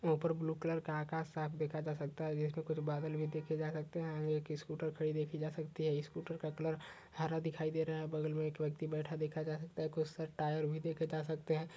ऊंपर blue colour का आकाश साफ देखा जा सकता है इसमें कुछ बादल भी देखे जा सकते हैं। आंगे एक स्कूटर खड़ी देखी जा सकती है। स्कूटर का क्लर हरा दिखाई दे रहा है। बगल में एक व्यक्ति बैठा देखा जा सकता है। कुछ टायर भी देखे जा सकते हैं।